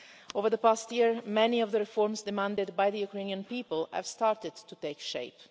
Over the past year, many of the reforms demanded by the Ukrainian people have started to take shape.